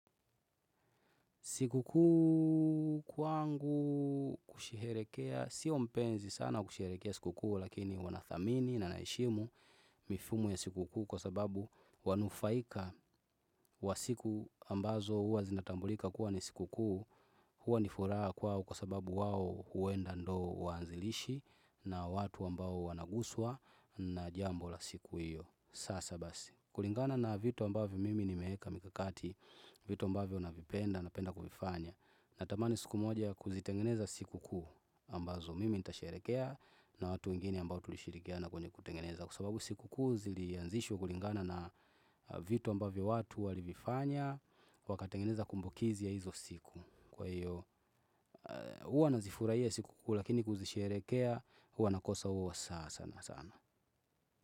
Sikukuu kwangu kusherehekea, sio mpenzi sana kusherehekea sikukuu lakini huwa nathamini na naheshimu mifumo ya sikukuu kwa sababu wanufaika wa siku ambazo huwa zinatambulika kuwa ni sikukuu huwa ni furaha kwao kwa sababu wao huenda ndo waanzilishi na watu ambao wanaguswa na jambo la siku hiyo. Sasa basi, kulingana na vitu ambavyo mimi nimeeka mikakati, vitu ambavyo navipenda napenda kuvifanya. Natamani siku moja kuzitengeneza sikukuu ambazo mimi nitasherehekea na watu wengine ambao tulishirikiana kwenye kutengeneza. Kwa sababu sikukuu zilianzishwa kulingana na vitu ambavyo watu walivifanya, wakatengeneza kumbukizi ya hizo siku. Kwa hiyo, huwa nazifurahia sikukuu lakini kuzisherehekea, huwa nakosa huwa sasa sana sana.